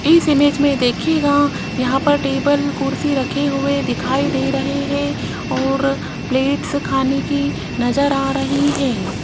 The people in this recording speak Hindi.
इस इमेज में देखिएगा यहां पर टेबल कुर्सी रखे हुए दिखाई दे रहे है और प्लेट्स खाने की नजर आ रही है।